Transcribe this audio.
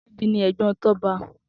Tobi ni ègbòn Toba